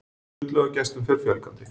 Sundlaugargestum fer fjölgandi